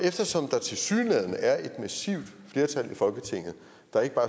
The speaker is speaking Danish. eftersom der tilsyneladende er et massivt flertal i folketinget der ikke